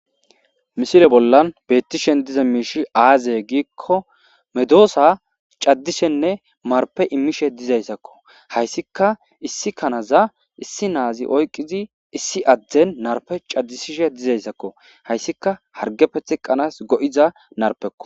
Misile bollan beettishen diza miishi aaze giikko medoosa caddishenne marpe immishe dizayssakko hayssika issi kanaza issi naazi oyqizi issi adden narpe caddisishe dizayssakko hayssika hargefe teqqanas go'iza narpekko.